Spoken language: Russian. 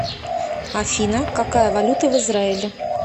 афина какая валюта в израиле